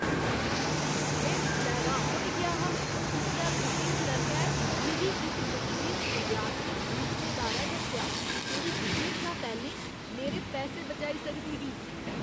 में उसलै र्‌हान होई गेआ हा जिसलै बुकिंग क्लर्कै मिगी इक बशेश विद्यार्थी छूट दे बारै दस्सेआ जेह्ड़ी बुकिंग शा पैह्‌लें मेरे पैसे बचाई सकदी ही।